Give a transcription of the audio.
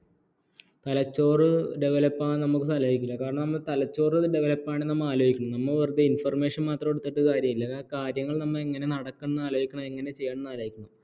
തലച്ചോറ് ഡെവലപ്പാകാൻ നമ്മക്ക് സമ്മതിക്കൂല കാരണം നമ്മള് തലച്ചോറ് ഡെവലപ്പാണേൽ ആലോചിക്കും നമ്മള് വെറുതെ ഇൻഫർമേഷൻ മാത്രം എടുത്തിട്ട് കാര്യമില്ല ആ കാര്യങ്ങൾ നമ്മൾ എങ്ങനെ നടക്കുന്നു എന്ന് ആലോചിക്കണം എങ്ങനെ ചെയ്യണം എന്ന് ആലോചിക്കണം